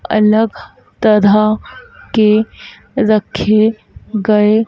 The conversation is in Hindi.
अलग तरह के रखे गए--